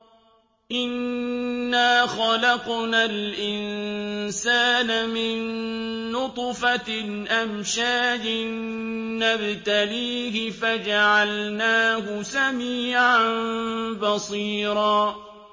إِنَّا خَلَقْنَا الْإِنسَانَ مِن نُّطْفَةٍ أَمْشَاجٍ نَّبْتَلِيهِ فَجَعَلْنَاهُ سَمِيعًا بَصِيرًا